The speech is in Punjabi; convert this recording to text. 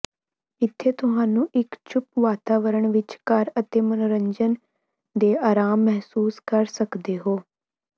ਇੱਥੇ ਤੁਹਾਨੂੰ ਇੱਕ ਚੁੱਪ ਵਾਤਾਵਰਨ ਵਿੱਚ ਘਰ ਅਤੇ ਮਨੋਰੰਜਨ ਦੇ ਆਰਾਮ ਮਹਿਸੂਸ ਕਰ ਸਕਦੇ ਹੋ